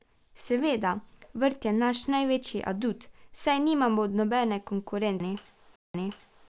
Seveda, vrt je naš največji adut, saj nimamo nobene konkurence v Ljubljani.